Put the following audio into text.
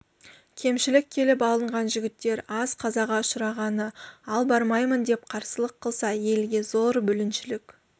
кемшілік келіп алынған жігіттер аз қазаға ұшырағаны ал бармаймын деп қарсылық қылса елге зор бүліншілік